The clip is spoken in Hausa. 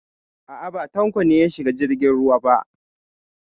A'a, ba Tanko ne ya shiga jirgin ruwa ba.